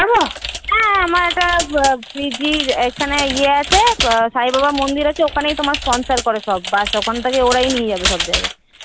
হ্যাঁ আমার একটা PG দিদির ইয়ে আছে এখানে সাই বাবার মন্দির ওখান থেকেই sponsor করে সব bus ওখান থেকেই ওরাই নিয়ে যাবে